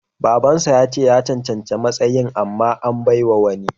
Baban sa yace ya cancanci matsayin amma an bawa wani.